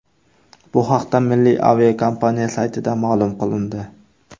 Bu haqda milliy aviakompaniya saytida ma’lum qilindi .